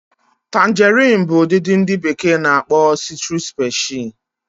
Tangarin bu udidi ndi beke n'akpo Citrus specie